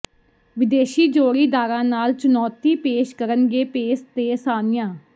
ਵਿਦੇਸ਼ੀ ਜੋੜੀਦਾਰਾਂ ਨਾਲ ਚੁਣੌਤੀ ਪੇਸ਼ ਕਰਨਗੇ ਪੇਸ ਤੇ ਸਾਨੀਆ